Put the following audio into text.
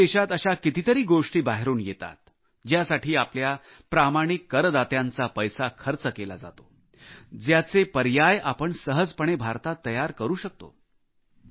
आपल्या देशात अशा कितीतरी गोष्टी बाहेरून येतात ज्यासाठी आपल्या प्रामाणिक करदात्यांचा पैसा खर्च केला जातो ज्याचे पर्याय आपण सहजपणे भारतात तयार करू शकतो